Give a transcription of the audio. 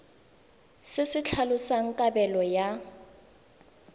se se tlhalosang kabelo ya